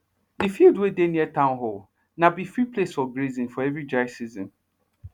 d field wey dey near town hall na be free place for grazing for every dry season